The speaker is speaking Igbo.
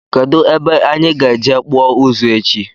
Kedụ ebe anyị ga-eje kpụọ ụzụ echi?